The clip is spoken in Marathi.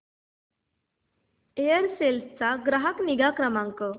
एअरसेल चा ग्राहक निगा क्रमांक